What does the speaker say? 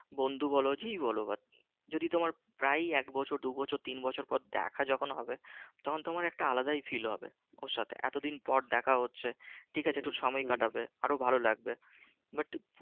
বন্ধু বলো যেই বলো যদি তোমার প্রায় এক বছর দু বছর তিন বছর পর দেখা যখন হবে তখন তোমার একটা আলাদাই feel হবে ওর সাথে এতদিন পর দেখা হচ্ছে ঠিক আছে একটু সময় কাটাবে আরো ভালো লাগবে but